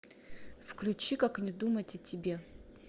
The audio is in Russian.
включи как не думать о тебе